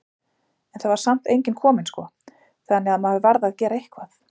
En það var samt enginn kominn sko, þannig að maður varð að gera eitthvað.